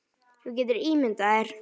Þú getur ímyndað þér.